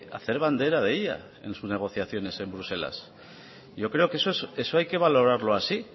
hacer bandera de ella en sus negociaciones en bruselas yo creo que eso hay que valorarlo así